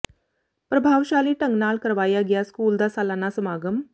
ਪ੍ਰਭਾਵਸ਼ਾਲੀ ਢੰਗ ਨਾਲ ਕਰਵਾਇਆ ਗਿਆ ਸਕੂਲ ਦਾ ਸਾਲਾਨਾ ਸਮਾਗਮ